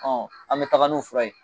Ɔ an bɛ taga n'o fura ye